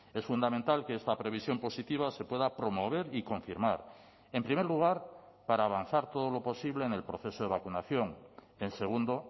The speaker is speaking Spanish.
es fundamental que esta previsión positiva se pueda promover y confirmar en primer lugar para avanzar todo lo posible en el proceso de vacunación en segundo